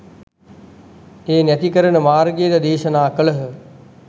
එය නැති කරන මාර්ගයද දේශනා කළහ.